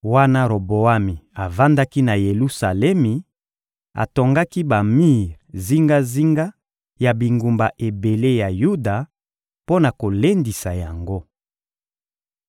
Wana Roboami avandaki na Yelusalemi, atongaki bamir zingazinga ya bingumba ebele ya Yuda mpo na kolendisa yango.